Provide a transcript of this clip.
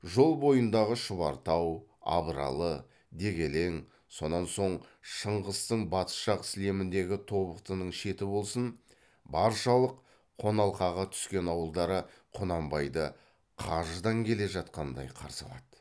жол бойындағы шұбартау абралы дегелең сонан соң шыңғыстың батыс жақ сілеміндегі тобықтының шеті болсын баршалық қоналқаға түскен ауылдары құнанбайды қажыдан келе жатқандай қарсы алады